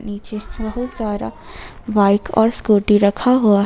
नीचे बहुत सारा बाइक और स्कूटी रखा हुआ है।